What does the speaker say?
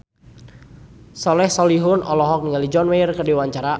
Soleh Solihun olohok ningali John Mayer keur diwawancara